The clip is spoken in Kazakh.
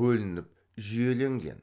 бөлініп жүйеленген